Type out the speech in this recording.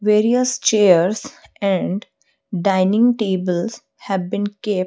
various chairs and dining tables have been kept.